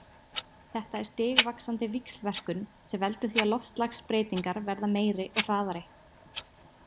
Þetta er stigvaxandi víxlverkun sem veldur því að loftslagsbreytingar verða meiri og hraðari.